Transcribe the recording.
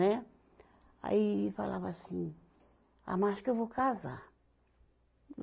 Né. Aí falava assim, ah mas acho que eu vou casar.